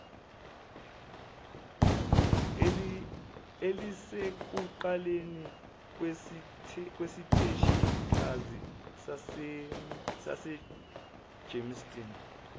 elisekuqaleni kwesiteshikazi sasegermiston